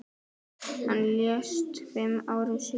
Hann lést fimm árum síðar.